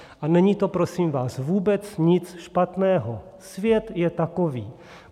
A není to, prosím vás, vůbec nic špatného, svět je takový.